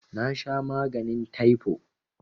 Nasha maganin taifo